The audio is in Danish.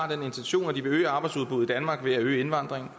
har den intention at de vil øge arbejdsudbuddet i danmark ved at øge indvandringen